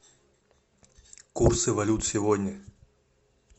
курсы валют сегодня